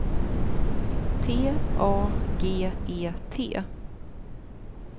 T A G E T